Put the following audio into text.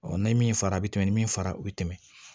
n'i ye min fara a bɛ tɛmɛ ni min fara o bɛ tɛmɛ